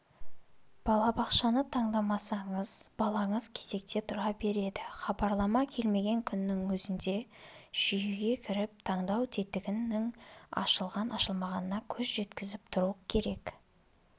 балабақшаны таңдамасаңыз балаңыз кезекте тұра береді хабарлама келмеген күннің өзінде жүйеге кіріп таңдау тетігінің ашылған ашылмағанына көз жеткізіп тұру керек